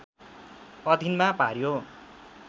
अधिनमा पार्‍यो